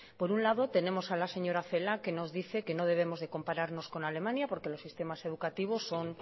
por un lado tenemos a la señora celaá que nos dice que no debemos de compararnos con alemania porque los sistemas educativos son